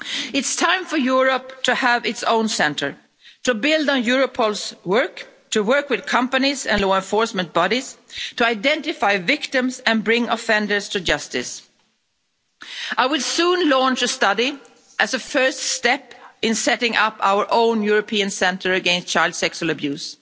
It's time for Europe to have its own centre, to build on Europol's work, to work with companies and law enforcement bodies, to identify victims and bring offenders to justice. I will soon launch a study as a first step in setting up our own European centre against child sexual abuse.